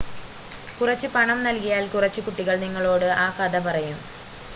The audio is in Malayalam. കുറച്ച് പണം നൽകിയാൽ കുറച്ച് കുട്ടികൾ നിങ്ങളോട് ആ കഥ പറയും